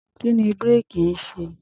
Kí ni búréèkì ń ṣe?